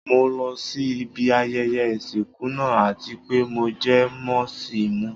Mo lọ sí ibi ayẹyẹ ìsìnkú náà àti pé mo jẹ mọ́ sì mú.